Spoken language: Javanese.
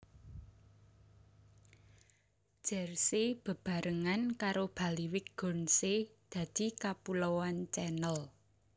Jersey bebarengan karo Bailiwick Guernsey dadi Kapuloan Channel